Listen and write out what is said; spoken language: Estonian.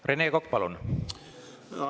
Rene Kokk, palun!